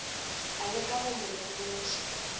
a leka go mo lemoša